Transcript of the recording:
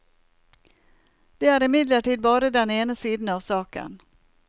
Det er imidlertid bare den ene siden av saken.